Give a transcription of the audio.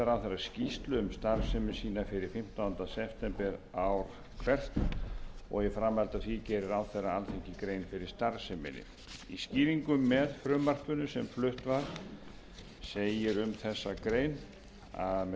hvert og í framhaldi af því geri ráðherra alþingi grein fyrir starfseminni í skýringum með frumvarpinu sem flutt var segir um þessa grein með